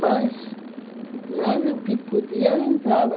Mas, mas o que podia, entrava.